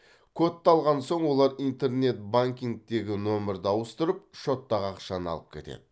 кодты алған соң олар интернет банкингтегі нөмірді ауыстырып шоттағы ақшаны алып кетеді